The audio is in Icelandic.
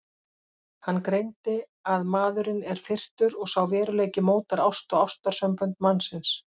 Hann greindi að maðurinn er firrtur og sá veruleiki mótar ást og ástarsambönd mannsins.